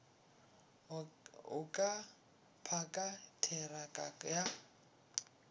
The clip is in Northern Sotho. o ka phaka theraka ya